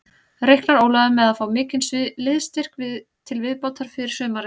Reiknar Ólafur með að fá mikinn liðsstyrk til viðbótar fyrir sumarið?